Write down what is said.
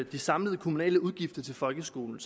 de samlede kommunale udgifter til folkeskolen